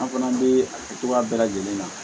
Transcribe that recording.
An fana bɛ a kɛ cogoya bɛɛ lajɛlen na